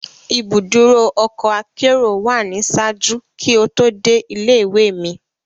Ibuduro ọkọ akero wa ni ṣaaju ki o to de ile-iwe mi